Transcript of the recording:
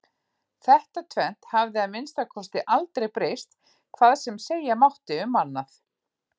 Þetta tvennt hafði að minnsta kosti aldrei breyst hvað sem segja mátti um annað.